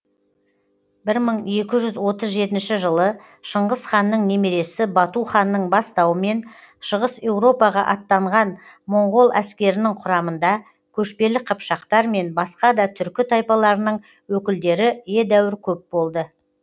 бір мың екі жүз отыз жетінші жылы шыңғыс ханның немересі бату ханның бастауымен шығыс еуропаға аттанған моңғол әскерінің құрамында көшпелі қыпшақтар мен басқа да түркі тайпаларының өкілдері едәуір көп болды